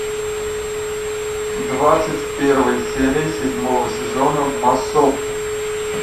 двадцать первая серия седьмого сезона массовка